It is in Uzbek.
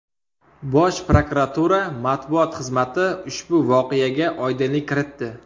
Bosh prokuratura matbuot xizmati ushbu voqeaga oydinlik kiritdi .